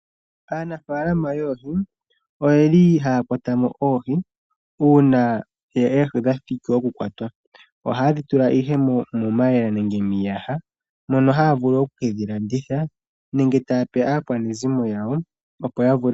Aanafalama yoohi oyeli haya kwata mo oohi una oohi dha thiki oku kwatwa. Ohaye dhi tula ihe momayemele nenge miiyaha. Mono haya vulu oku kedhi landitha nenge taya pe aakwanezimo yawo.